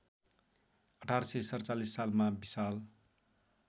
१८४७ सालमा विशाल